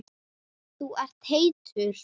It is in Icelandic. Þú ert heitur.